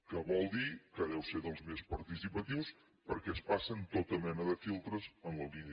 que vol dir que deu ser dels més participatius perquè es passen tota mena de filtres en la línia del que vostè diu